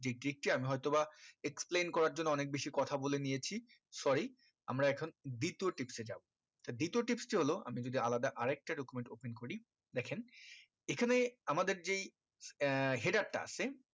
যেই আমি হয়তো বা explain করার জন্য অনেক বেশি কথা বলে নিয়েছি sorry আমরা এখন দ্বিতীয় tips এ যাবো তা দ্বিতীয় tips কি হলো আমি যদি আলাদা আরেকটা document open করি দেখেন এখানে আমাদের যেই আহ header টা আছে